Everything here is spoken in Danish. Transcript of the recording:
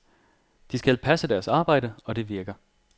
De skal passe deres arbejde, og det virker.